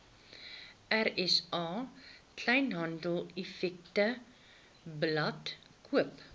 rsa kleinhandeleffektewebblad koop